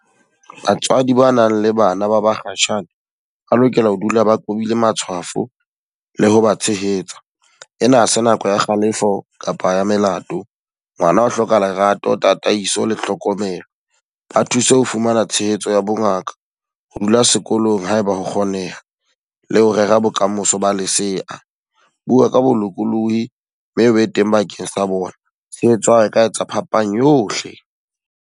Batswadi ba nang le bana ba bakgatjhane, ba lokela ho dula ba qobile matshwafo le ho ba tshehetsa. E na ha se nako ya kgalefo kapa ya melato. Ngwana o hloka lerato, tataiso le tlhokomelo. Ba thuse ho fumana tshehetso ya bongaka, ho dula sekolong haebe ho kgoneha. Le ho rera bokamoso ba lesea. Bua ka bolokolohi mme e be teng bakeng sa bona. Tshehetso ya hao e ka etsa phapang yohle.